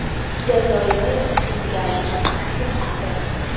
Jazoir Senegalni taslim qildi.